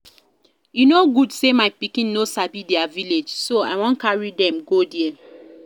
E no good say my pikin no sabi their village so I wan carry dem go there